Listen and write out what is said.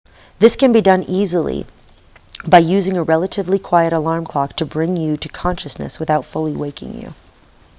this can be easily done by using a relatively quiet alarm clock to bring you to consciousness without fully waking you